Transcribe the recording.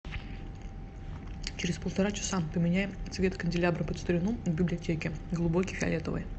через полтора часа поменяй цвет канделябра под старину в библиотеке глубокий фиолетовый